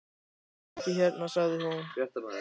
Hún er ekki hérna, sagði hún.